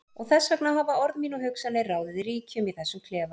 Og þess vegna hafa orð mín og hugsanir ráðið ríkjum í þessum klefa.